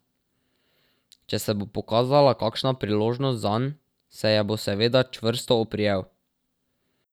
Če se bo pokazala kakšna priložnost zanj, se je bo seveda čvrsto oprijel.